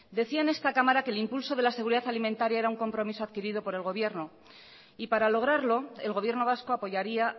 decía en esta cámara que el impulso de la seguridad alimentaria era un compromiso adquirido por el gobierno y para lograrlo el gobierno vasco apoyaría